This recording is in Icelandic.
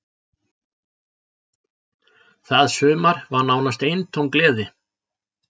Það sumar var nánast eintóm gleði.